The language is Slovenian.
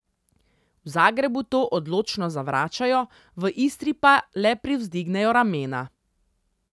V Zagrebu to odločno zavračajo, v Istri pa le privzdignejo ramena.